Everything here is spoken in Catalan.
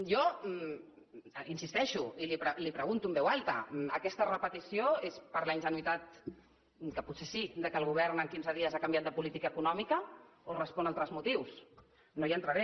jo hi insisteixo i li ho pregunto en veu alta aquesta repetició és per la ingenuïtat que potser sí que el govern en quinze dies ha canviat de política econòmica o respon a altres motius no hi entraré